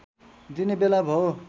दिने बेला भो